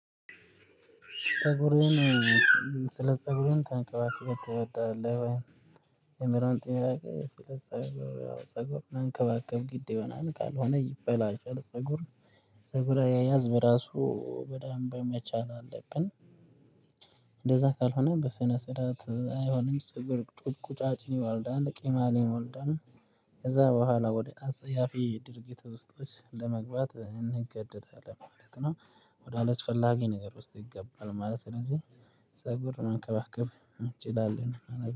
ፀጉሩን ስለ ፀጉሩን ተንከባክበ ትወዳለ የሚለውን ጥያቄ ስለ ፀጉር መንከባከብ ግድ ይሆናል ካልሆነ ሆነ ይበላሻል ፀጉር የፀጉር አያያዝን በራሳችን በሚገባ ማወቅ እና መቻል አለብን። እንደዛ ካልሆነ በስነ ስርዓት አይሆንም ስብር ቁጭ ቁጫጭን ይወልዳል ቅማልን ይወልዳል ከዛ በኋላ ወደ አንጸያፊ ድርጊት ውስጦች ለመግባት እንገደዳለን ማለት ነው ወደ አላስ ፈላጊ ነገር ውስጥ ይገባል ማለት ነው ስለዚህ ፀጉር መከባከብ እንችላለን